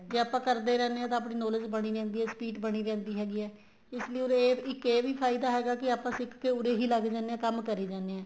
ਵੀ ਆਪਾਂ ਕਰਦੇ ਰਹਿੰਦੇ ਹਾਂ ਤਾਂ ਆਪਣੀ knowledge ਬਣਦੀ ਰਹਿੰਦੀ ਏ speed ਬਣੀ ਰਹਿੰਦੀ ਹੈਗੀ ਏ ਇਸ ਲਈ ਉੱਰੇ ਇੱਕ ਇਹ ਵੀ ਫਾਇਦਾ ਹੈਗਾ ਕੀ ਆਪਾਂ ਸਿੱਖਕੇ ਉੱਰੇ ਹੀ ਲੱਗ ਜਾਂਦੇ ਏ ਕੰਮ ਕਰੀ ਜਾਣੇ ਆ